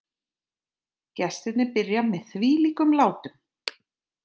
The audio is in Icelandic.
Gestirnir byrja með þvílíkum látum